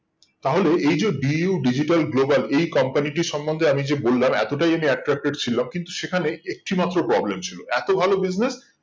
তাহলে এই যে DU Digital Global এই company টির সম্বন্ধে আমি যে বললাম এতটাই আমি attracted ছিলাম কিন্তু সেখানে একটি মাত্র problem ছিল এত ভালো business